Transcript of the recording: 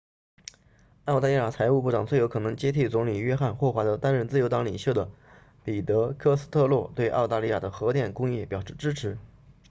澳大利亚财务部长最有可能接替总理约翰霍华德担任自由党领袖的彼得科斯特洛对澳大利亚的核电工业表示支持